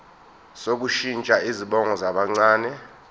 sokushintsha izibongo zabancane